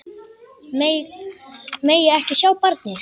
Megi ekki sjá barnið.